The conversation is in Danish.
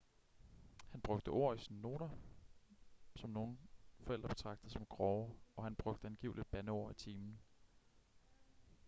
han brugte ord i sine noter som nogle forældre betragtede som grove og han brugte angiveligt bandeord i timen